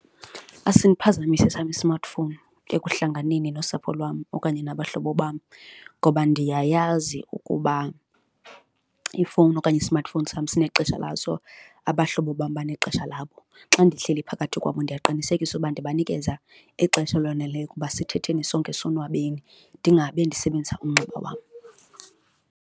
Asindiphazamisi esam i-smartphone ekuhlanganeni nosapho lwam okanye nabahlobo bam ngoba ndiyayazi ukuba ifowuni okanye i-smartphone sam sinexesha laso, abahlobo bam banexesha labo. Xa ndihleli phakathi kwabo ndiyaqinisekisa ukuba ndibanikeza ixesha eloneleyo ukuba sithetheni sonke sonwabeni ndingabe ndisebenzisa umnxeba wam.